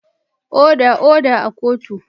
Oda, oda a kotun!